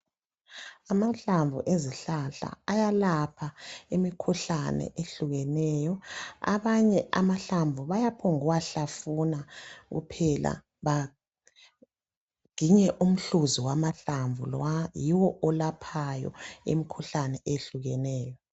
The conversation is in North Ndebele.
Amahlamvu ezihlahla ayalapha imikhuhlane ehlukeneyo, abanye amahlamvu bayaphombu kuwa hlafuna kuphela baginye umhluzi wamahlamvu lowa yiwo olaphayo imkhuhlane ehlukeneyo.